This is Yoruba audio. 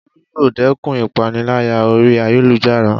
Olú yóò dẹ́kun ìpániláyà orí ayélujára